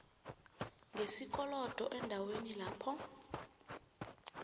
ngesikolodo eendaweni lapho